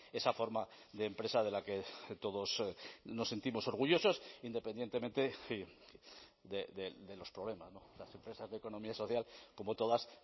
esa forma de empresa de la que todos nos sentimos orgullosos independientemente de los problemas las empresas de economía social como todas